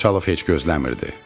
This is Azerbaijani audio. Xançalov heç gözləmirdi.